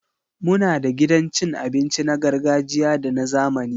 Muna da gidan cin abinci na gargajiya da na zamani